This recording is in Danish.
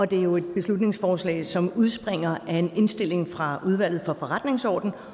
det er jo et beslutningsforslag som udspringer af en indstilling fra udvalget for forretningsordenen